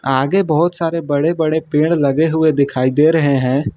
आगे बहोत सारे बड़े बड़े पेड़ लगे हुए दिखाई दे रहे हैं।